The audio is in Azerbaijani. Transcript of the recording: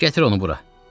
Gətir onu bura.